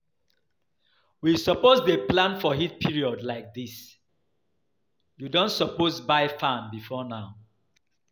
You suppose dey plan for heat period like dis, you don suppose buy fan before now